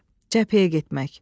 Cəbhəyə getmək.